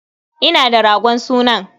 Ina da ragon sunan.